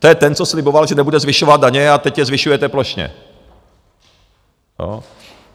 To je ten, co sliboval, že nebude zvyšovat daně, a teď je zvyšujete plošně.